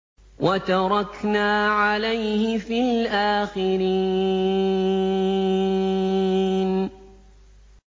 وَتَرَكْنَا عَلَيْهِ فِي الْآخِرِينَ